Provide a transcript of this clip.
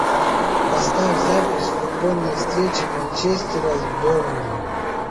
поставь запись футбольной встречи манчестера с бернли